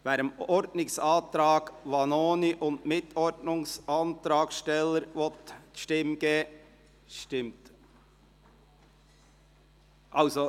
Wer dem Ordnungsantrag Vanoni und Mitordnungsantragsteller die Stimme geben will, stimmt ...